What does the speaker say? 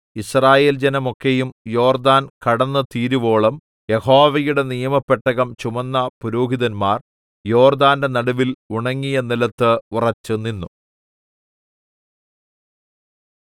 യിസ്രായേൽ ജനമൊക്കെയും യോർദ്ദാൻ കടന്നുതീരുവോളം യഹോവയുടെ നിയമപെട്ടകം ചുമന്ന പുരോഹിതന്മാർ യോർദ്ദാന്റെ നടുവിൽ ഉണങ്ങിയ നിലത്ത് ഉറച്ചുനിന്നു